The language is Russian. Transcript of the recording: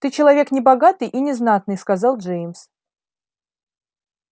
ты человек небогатый и незнатный сказал джеймс